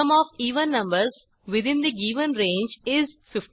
sum of even numbers within the given range is 56